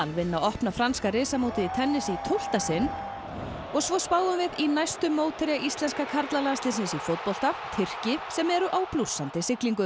vinna opna franska í tennis í tólfta sinn og svo spáum við í næstu mótherja íslenska karlalandsliðsins í fótbolta Tyrki sem eru á blússandi siglingu